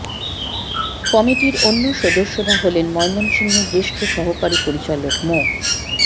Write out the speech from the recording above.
কমিটির অন্য সদস্যরা হলেন ময়মনসিংহের জ্যেষ্ঠ সহকারী পরিচালক মো